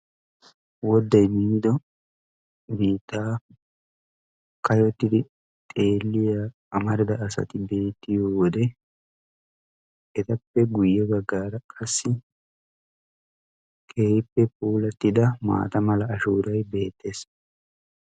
wodaay miidi biittaa kayyotidi xeeliya marida asay beettiyo wodee etappe guyye baggaara qassi keehippe puulatida maata mala ashuuray beettees.